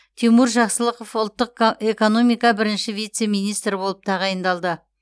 тимур жақсылықов ұлттық ка экономика бірінші вице министрі болып тағайындалды